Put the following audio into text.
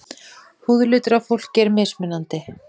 Húðlitur á fólki er mismunandi.